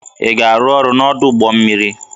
Ị ga-arụ ọrụ n'ọdụ ụgbọ mmiri!